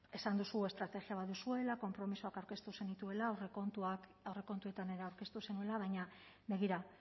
esan duzu estrategia bat duzuela konpromisoak aurkeztu zenituela aurrekontuetan ere aurkeztu zenuela baina begira